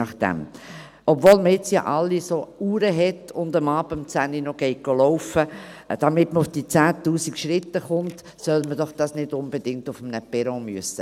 Obwohl alle jetzt ja solche Uhren haben und abends um Zehn noch spazieren gehen, damit sie auf die 10’000 Schritte kommen, soll man das doch nicht unbedingt auf einem Perron machen müssen.